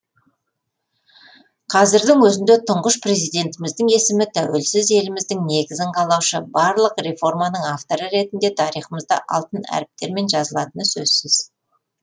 қазірдің өзінде тұңғыш президентіміздің есімі тәуелсіз еліміздің негізін қалаушы барлық реформаның авторы ретінде тарихымызда алтын әріптермен жазылатыны сөзсіз